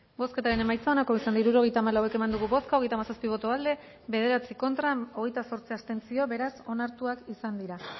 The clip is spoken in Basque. bozketaren emaitza onako izan da hirurogeita hamalau eman dugu bozka hogeita hamazazpi boto aldekoa bederatzi contra hogeita zortzi abstentzio beraz onartuak izan dira